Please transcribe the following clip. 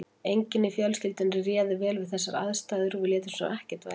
Enginn í fjölskyldunni réð vel við þessar aðstæður og við létum sem ekkert væri.